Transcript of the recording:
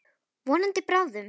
Vonandi bráðum.